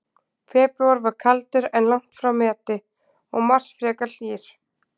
Febrúar var kaldur, en langt frá meti, og mars var frekar hlýr.